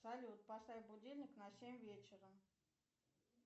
салют поставь будильник на семь вечера